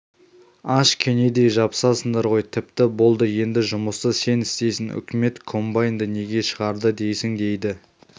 аш кенедей жабысасыңдар ғой тіпті болды енді жұмысты сен істейсің үкімет комбайнды неге шығарды дейсің дейді